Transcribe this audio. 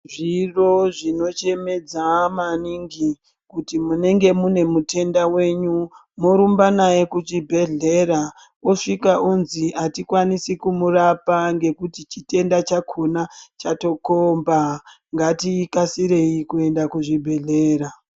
Zviro zvinochemedza maningi kuti munenge mune mutenda wenyu, morumba naye kuchibhehlera mosvika onzi atikwanisi kumurapa ngekuti chitenda chakona chatokomba. Ngatikasirei kuenda kuzvibhehlera.